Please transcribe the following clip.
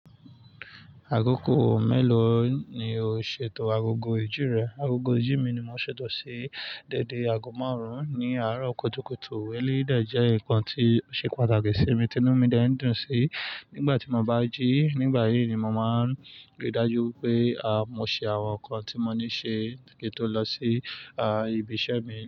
Agogo mélòó ni o ṣètò agogo ìjì rẹ? Agogo ìjì mi ni mo ṣètò sí dẹ́dẹ́ aago márùn-ún ní àárọ̀ kùtùkùtù. Eléyìí dẹ̀ jẹ́ ǹkan tí ó ṣe pàtàkì sí mi ti inú mi dẹ̀ ń dùn sí nígbà tí mo bá jí nígbà yí ni mo máa rí i dájú pé, mo ṣe àwọn nǹkan tí mo ní ṣe kí n tó lọ sí, ibi iṣẹ́ mi.